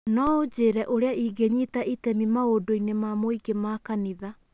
No ũnjĩĩre ũrĩa ingĩnyita itemi maũndũ-inĩ ma mũingĩ ma kanitha